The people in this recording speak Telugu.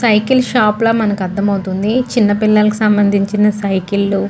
సైకిల్ షాప్ ల మనకి అర్ధం అవుతుంది. చిన్న పిల్లకి సంనందించిన షాప్ లు --